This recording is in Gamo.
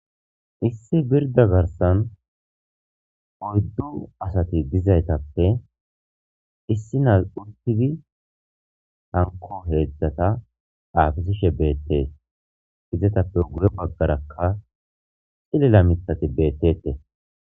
Issi birda garsan oyddu asati dizaytappe issi nas untigi hanko heedzdzata aafisishe beettee hizetappe gure baggarakka xillela mitati beettete.